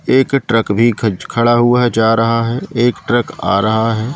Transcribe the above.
एक ट्रक भी खच खड़ा हुआ है जा रहा है एक ट्रक आ रहा है।